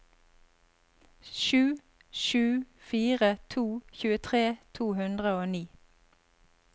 sju sju fire to tjuetre to hundre og ni